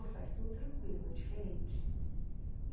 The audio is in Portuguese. Faz tudo tranquilo, é diferente.